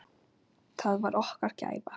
Það var okkar gæfa.